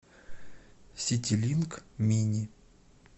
ситилинк мини